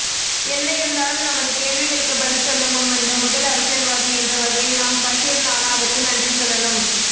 என்ன இருந்தாலும் நமது கேள்விகளுக்கு பதில் சொல்ல முன்வந்த முதல் அரசியல்வாதி என்றவகையில் நாம் பஷீர் நானாவுக்கு நன்றி சொல்லணும்